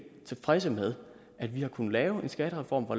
tilfredse med at vi har kunnet lave en skattereform hvor